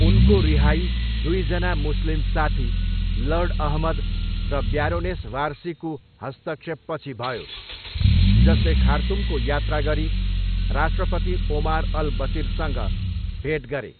उनको रिहाई दुईजना मुस्लिम साथी, लर्ड अहमद र ब्यारोनेस वारसीको हस्तक्षेपपछि भयो जसले खार्तुमको यात्रा गरी राष्ट्रपति ओमार अल बसिरसँग भेट गरे।